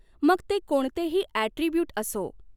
मग ते कोणतेही अॅीट्रिब्यूट असो.